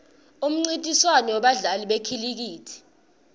umnrintiswano webadla li bekhilikithi